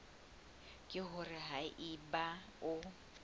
ke hore ha eba o